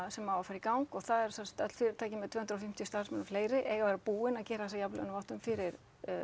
sem á að fara í gang og það eru sem sagt öll fyrirtæki með tvö hundruð og fimmtíu starfsmenn og fleiri eiga að vera búin að gera þessa jafnlaunavottun fyrir